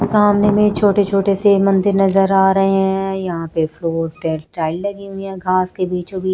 सामने में छोटे छोटे से मंदिर नजर आ रहें हैं यहां पे फ्लोर पे टाइल्स लगी हुई है घास के बीचों बीच--